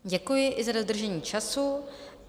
Děkuji i za dodržení času.